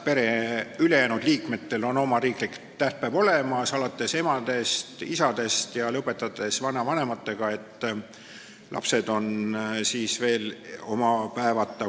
Pere ülejäänud liikmetel on oma riiklik tähtpäev olemas, alates emadest ja isadest, lõpetades vanavanematega, aga lapsed on veel oma päevata.